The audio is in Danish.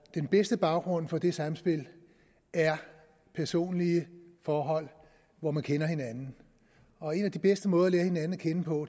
den bedste baggrund for det samspil er personlige forhold hvor man kender hinanden og en af de bedste måder at lære hinanden at kende på